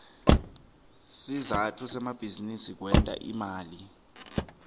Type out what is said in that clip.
sizatfu semabizinisi kwenta imali